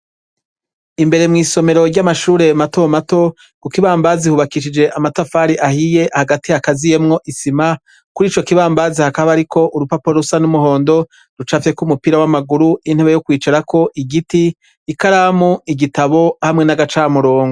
Imbere mwisomero ryamashure mato mato kukibambazi hubakishije amatafari ahiye hagati hagaziyemwo isima kurico kibambazi hakaba hariko urupapuro rusa numuhondo rucafyeko umupira wamaguru nintebe yokwicarako igiti ikaramu igitabo hamwe nagacamurongo